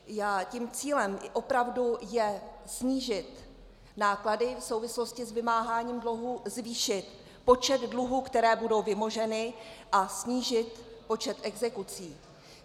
Tím cílem opravdu je snížit náklady v souvislosti s vymáháním dluhů, zvýšit počet dluhů, které budou vymoženy, a snížit počet exekucí.